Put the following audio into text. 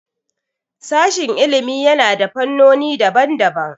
Sashin ilimi yana da fannoni daban daban